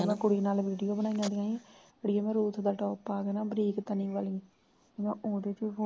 ਕੁੜੀ ਨਾਲ ਵੀਡੀਓ ਬਣਾਈ ਆ ਗਈਆਂ ਸੀ ਕੁੜੀ ਮੇਰੀ ਨੇ ਰੂਪ ਦਾ top ਪਾ ਕੇ ਨਾ ਬਰੀਕ ਤਣੀ ਵਾਲੀ ਉਹਦੇ ਵਿਚ ਵੀ